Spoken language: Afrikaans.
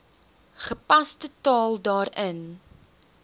gepaste taal daarin